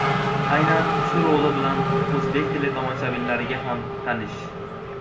Aynan shu roli bilan o‘zbek teletomoshabinlariga ham tanish.